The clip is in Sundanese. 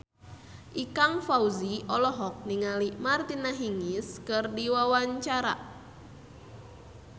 Ikang Fawzi olohok ningali Martina Hingis keur diwawancara